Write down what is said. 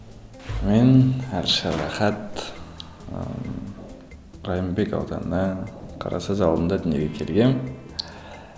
мен әлішер рахат ыыы райымбек ауданы қарасаз ауылында дүниеге келгенмін